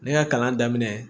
Ne ka kalan daminɛ